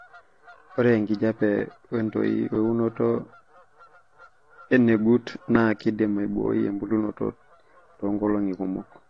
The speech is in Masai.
Ore enkijiape we ntoi weunoto enegut naa keidim aibooi embulunoto toonkolong'i kumok.